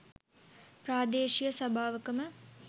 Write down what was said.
ප්‍රාදේශීය සභාවකම